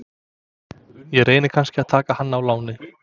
Ég reyni kannski að taka hann á láni?